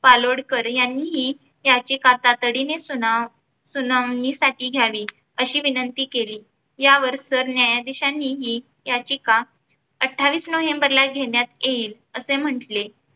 कालोडकर यांनी याचे कथातडीने सुना सुनावणीसाठी घ्यावी अशी विनंती केली. यावर सरन्यायाधीशानीही याचिका अठ्ठावीस नोव्हेंबरला घेण्यात येईल असे म्हंटले.